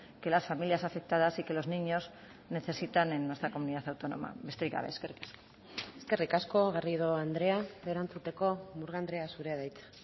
que las familias afectadas y que los niños necesitan en nuestra comunidad autónoma besterik gabe eskerrik asko eskerrik asko garrido andrea erantzuteko murga andrea zurea da hitza